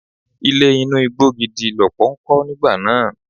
Ilé inú igbó dídí lọ́pọ̀ ń kọ́ nígbà náà.